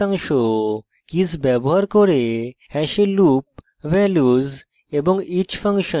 keys ব্যবহার করে hash loop values এবং each ফাংশন